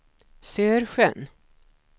Sörsjön